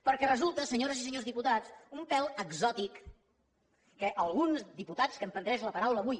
perquè resulta senyores i senyors diputats un pèl exòtic que alguns diputats que han pres la paraula avui